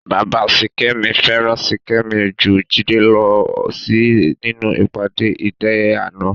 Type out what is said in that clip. Bàbá Sìkẹ́mi fẹ́ràn Ṣìkẹ́mi ju Jídé lọ ó sì nínú ìpàdé ìdíléàná